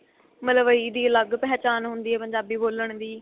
ਮਲਵਈ ਦੀ ਅਲੱਗ ਪਹਿਚਾਣ ਹੁੰਦੀ ਏ ਪੰਜਾਬੀ ਬੋਲਣ ਦੀ